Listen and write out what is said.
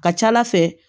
Ka ca ala fɛ